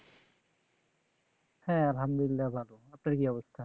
হ্যাঁ আল্লাহামদুল্লিলাহ আপনার কি অবস্থা